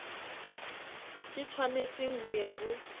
ke tshwanetseng ho ya ho